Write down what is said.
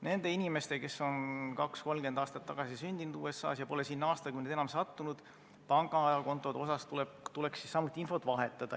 Nende inimeste pangakontode kohta, kes on 20–30 aastat tagasi sündinud USA-s ja pole sinna aastakümneid enam sattunud, tuleks samuti infot vahetada.